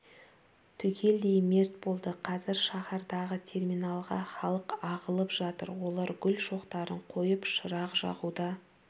түгелдей мерт болды қазір шаһардағы терминалға халық ағылып жатыр олар гүл шоқтарын қойып шырақ жағуда